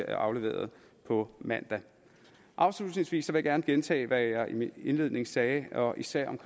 afleverer dem på mandag afslutningsvis vil jeg gerne gentage hvad jeg i min indledning sagde især om